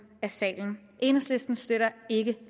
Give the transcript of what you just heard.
af salen enhedslisten støtter ikke